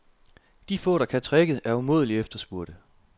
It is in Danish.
De få, der kan tricket, er umådeligt efterspurgte.